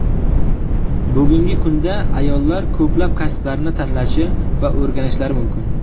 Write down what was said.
Bugungi kunda ayollar ko‘plab kasblarni tanlashi va o‘rganishlari mumkin.